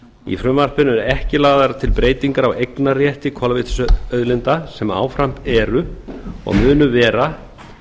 í frumvarpinu eru ekki lagðar til breytingar á eignarrétti kolvetnisauðlinda sem áfram eru og munu vera